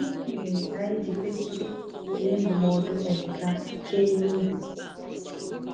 Gịnị mere anyị ji kwesịrị were ndụmọdụ Emeka kee n’obi?